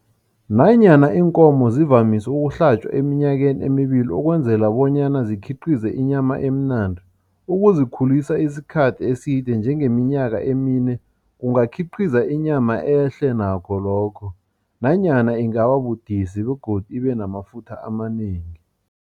Nanyana iinkomo zivamise ukuhlatjwa eminyakeni emibili ukwenzela bonyana zikhiqize inyama emnandi, ukuzikhulisa isikhathi eside njengeminyaka emine kungakhiqiza inyama ehle nakho lokho nanyana ingababudisi begodu ibenamafutha amanengi.